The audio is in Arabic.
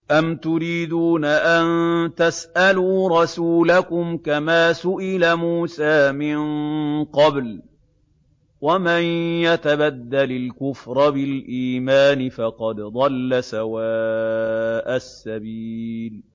أَمْ تُرِيدُونَ أَن تَسْأَلُوا رَسُولَكُمْ كَمَا سُئِلَ مُوسَىٰ مِن قَبْلُ ۗ وَمَن يَتَبَدَّلِ الْكُفْرَ بِالْإِيمَانِ فَقَدْ ضَلَّ سَوَاءَ السَّبِيلِ